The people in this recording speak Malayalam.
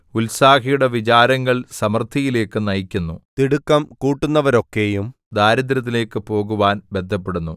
ഉത്സാഹിയുടെ വിചാരങ്ങൾ സമൃദ്ധിയിലേയ്ക്ക് നയിക്കുന്നു തിടുക്കം കൂട്ടുന്നവരൊക്കെയും ദാരിദ്ര്യത്തിലേയ്ക്ക് പോകുവാൻ ബദ്ധപ്പെടുന്നു